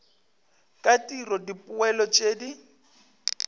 ka tiro dipoelo tšeo di